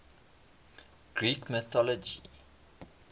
greek mythology